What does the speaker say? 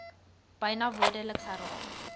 byna woordeliks herhaal